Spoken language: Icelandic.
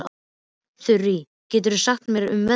Þurí, hvað geturðu sagt mér um veðrið?